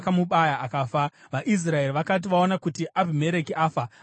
VaIsraeri vakati vaona kuti Abhimereki afa, vakaenda kumusha.